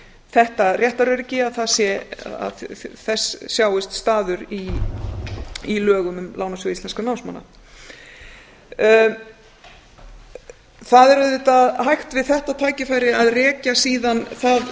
þetta réttaröryggi að þess sjáist staður í lögum um lánasjóð íslenskra námsmanna það er auðvitað hægt við þetta tækifæri að rekja síðan það